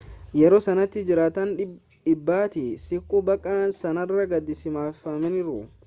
yeroo sanatti jiraataan 100tti siqu bakka sanarraa gadhiisifamaniiru